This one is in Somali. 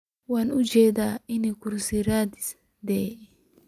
Waan uujedaa inad kursi raadis thy.